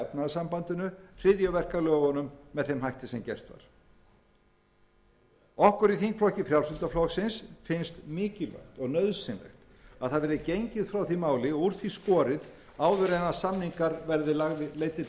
hryðjuverkalögunum með þeim hætti sem gert var okkur í þingflokki frjálslynda flokksins finnst mikilvægt og nauðsynlegt að það verði gengið frá því máli og úr því skorið áður en samninga verði leiddir